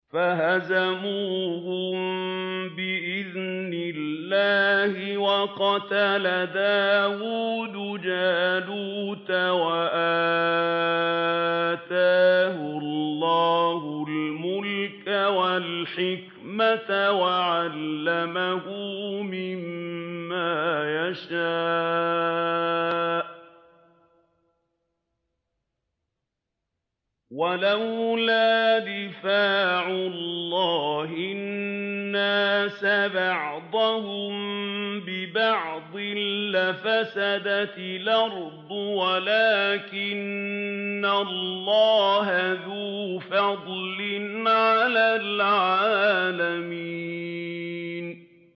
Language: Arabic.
فَهَزَمُوهُم بِإِذْنِ اللَّهِ وَقَتَلَ دَاوُودُ جَالُوتَ وَآتَاهُ اللَّهُ الْمُلْكَ وَالْحِكْمَةَ وَعَلَّمَهُ مِمَّا يَشَاءُ ۗ وَلَوْلَا دَفْعُ اللَّهِ النَّاسَ بَعْضَهُم بِبَعْضٍ لَّفَسَدَتِ الْأَرْضُ وَلَٰكِنَّ اللَّهَ ذُو فَضْلٍ عَلَى الْعَالَمِينَ